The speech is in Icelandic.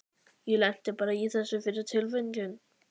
Ég lenti bara í þessu fyrir tilviljun.